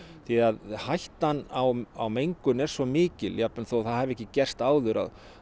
því hættan á mengun er svo mikil jafnvel þó að það hafi ekki gerst áður